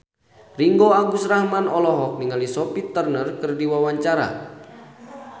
Ringgo Agus Rahman olohok ningali Sophie Turner keur diwawancara